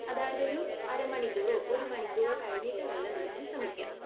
അതായത് ഒരു അരമണിക്കൂറോ ഒരുമണിക്കൂറോ കഴിഞ്ഞിട്ട് വെള്ളം കുടിക്കാൻ ശ്രമിക്കുക.